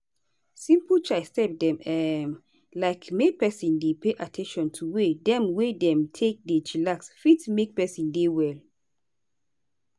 simple chai step dem um like make peson dey pay at ten tion to way dem wey dem take dey chillax fit make peson dey well.